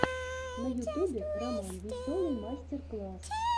на ютубе роман веселый мастер класс